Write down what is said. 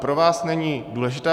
Pro vás není důležitá